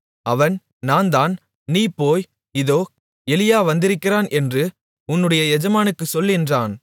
அவன் நான்தான் நீ போய் இதோ எலியா வந்திருக்கிறான் என்று உன்னுடைய எஜமானுக்குச் சொல் என்றான்